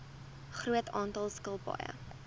groot aantal skilpaaie